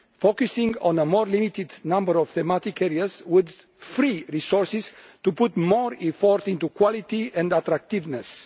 Focusing on a more limited number of thematic areas would free resources to put more effort into quality and attractiveness.